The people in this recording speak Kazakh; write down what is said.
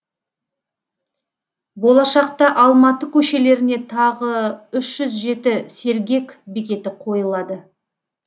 болашақта алматы көшелеріне тағы үш жүз жеті сергек бекеті қойылады